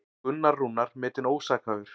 Gunnar Rúnar metinn ósakhæfur